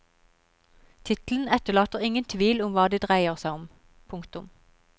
Tittelen etterlater ingen tvil om hva det dreier seg om. punktum